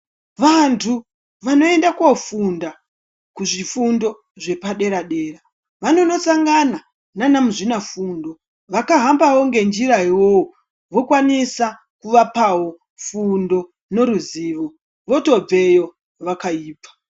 Vanthu vanoende kofunda kuzvifundo zvepaderadera vanondosangana nanamuzvinafundo vakahambawo ngenjira iyoyo vokwanisa kuvapawo fundo neruzivo wotobveyo wakaibva.